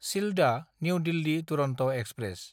Sealdah New Delhi Duronto express